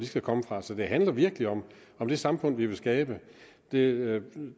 skal komme fra så det handler virkelig om det samfund vi vil skabe det